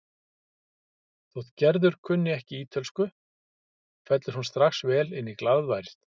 Þótt Gerður kunni ekki ítölsku fellur hún strax vel inn í glaðværð